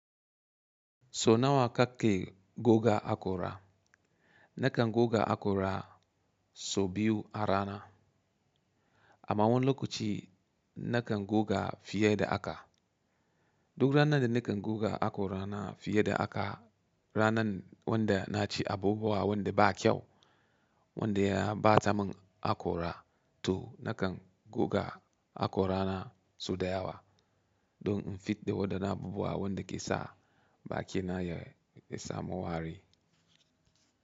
So nawa ka ke goga haƙora? Nakan goga hakora sau biyu a rana. Amma wani lokaci nakan goga fiye da haka. Duk ranar da nakan goga hakorana fiye da haka, ranar wanda na ci abubuwa wanda ba kyau wanda ya ɓata mun hakora to nakan goga hakorana sau da yawa don in fidda wadannan abubuwa wanda ke sa bakina ya samu wari.